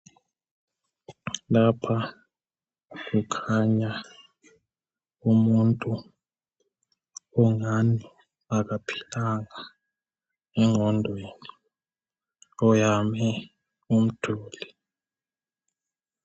Lapha kukhanya umuntu ongathi akaphilanga engqondweni uyame umduli.